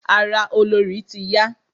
Ara olorì ti n ya.